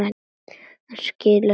Hann skilur það ekki.